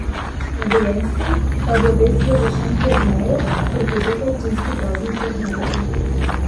Na Dolenjskem pa bo pestro v Šentjerneju, kjer poteka občinski praznik Jernejevo.